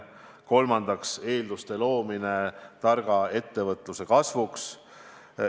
Kolmandaks, eelduste loomine targa ettevõtluse kasvuks.